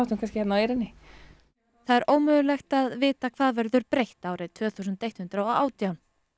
eyrinni það er ómöglegt að vita hvað verður breytt árið tvö þúsund og eitt hundrað og átján